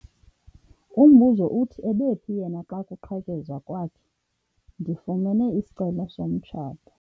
Umbuzo uthi ebephi yena xa kuqhekezwa kwakhe? ndifumene isicelo somtshato